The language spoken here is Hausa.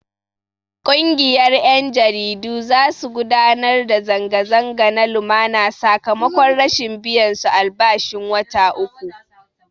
Ƙungiyar 'yan jaridu za su gudanar da zanga-zanga na lumana sakamakon rashin biyan su albashin wata uku.